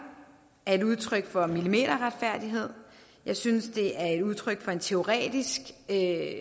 er et udtryk for millimeterretfærdighed jeg synes det er et udtryk for en teoretisk idé